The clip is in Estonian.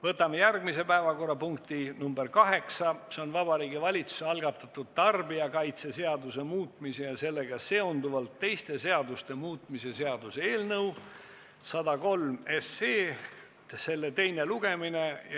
Võtame järgmise päevakorrapunkti, nr 8, Vabariigi Valitsuse algatatud tarbijakaitseseaduse muutmise ja sellega seonduvalt teiste seaduste muutmise seaduse eelnõu 103 teine lugemine.